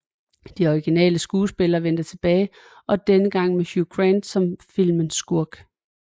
De originale skuespillere vendte tilbage og denne gang med Hugh Grant som filmens skurke